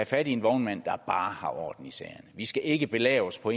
fat i en vognmand der bare har orden i sagerne vi skal ikke belave os på